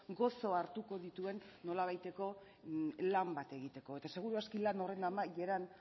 gozo hartuko dituen nolabaiteko lan bat egiteko eta seguru aski lan horren amaieran